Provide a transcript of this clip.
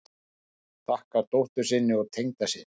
Þakkar dóttur sinni og tengdasyni